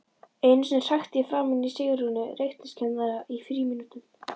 Einu sinni hrækti ég framan í Sigrúnu reikningskennara í frímínútum.